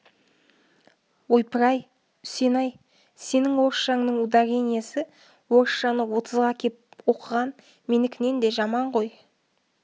ойпыр-ай үсен-ай сенің орысшаңның ударениесі орысшаны отызға кеп оқыған менікінен де жаман ғой